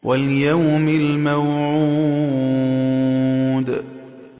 وَالْيَوْمِ الْمَوْعُودِ